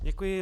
Děkuji.